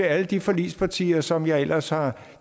alle de forligspartier som jeg ellers har